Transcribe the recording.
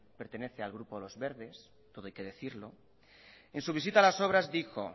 pertenece al grupo lo verdes todo hay que decirlo en su visita a las obras dijo